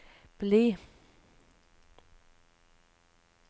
bli